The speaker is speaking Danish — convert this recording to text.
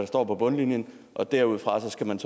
står på bundlinjen og derudfra skal man